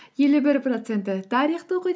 елу бір проценті тарихты оқиды